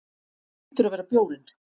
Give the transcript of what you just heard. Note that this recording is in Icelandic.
Hlýtur að vera bjórinn.